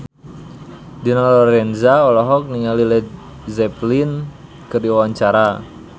Dina Lorenza olohok ningali Led Zeppelin keur diwawancara